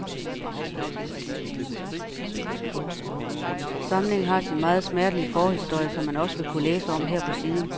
Samlingen har sin meget smertelige forhistorie, som man også vil kunne læse om her på siden.